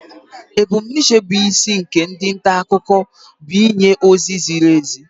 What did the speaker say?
Ebumnuche bụ isi nke ndi nta akụkọ bụ ịnye ozi ziri ezi